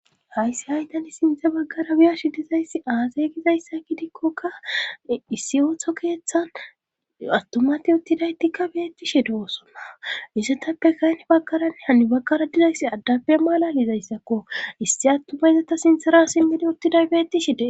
hayssi hay tani sintdze baggara biya shi dizayssi aasay gizayssa kidikkoka issi ooththo keeththan attumati uttidaytikka beettishe doosonna isetappe kayne baggaranne hani baggara dizayssi addappe malalizayssakko issi attumayzata sintera simmidi uttiday beettishe des